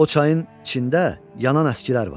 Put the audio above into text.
O çayın içində yanan əskilər var.